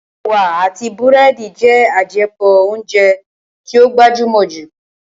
Ẹ̀wà àti búrẹ́dì jẹ́ àjẹpọ̀ óúnjẹ tí ó gbajúmọ̀ jù